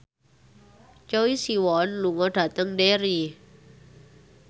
Choi Siwon lunga dhateng Derry